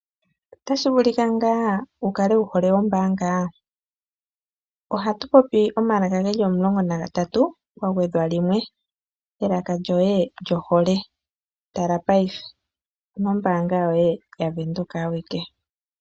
Otashi vuluki ngaa wu kale wu hole ombaanga? Ohatu popi omalaka ge li omulongo nagatatu kwa gwedhwa limwe, elaka lyoye lyohole. Tala paife omoombaanga yoye yaWindhoek awike.